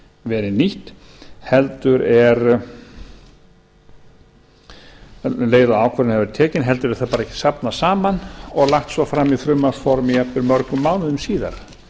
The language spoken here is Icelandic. verið nýtt um leið og ákvörðun hefur verið tekin heldur er því safnað saman og lagt svo fram í frumvarpsformi jafnvel mörgum mánuðum síðar